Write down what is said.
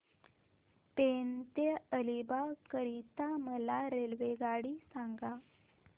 पेण ते अलिबाग करीता मला रेल्वेगाडी सांगा